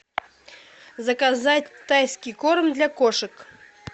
заказать тайский корм для кошек